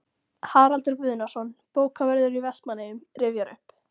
Haraldur Guðnason, bókavörður í Vestmannaeyjum, rifjar upp